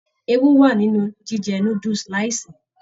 Ewú wa nínú jíjẹ núdúsí láì ṣe.